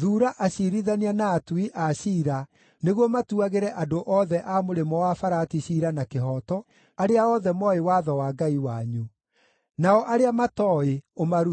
thuura aciirithania na atui a ciira nĩguo matuagĩre andũ othe a Mũrĩmo-wa-Farati ciira na kĩhooto, arĩa othe mooĩ watho wa Ngai wanyu. Nao arĩa matooĩ ũmarute.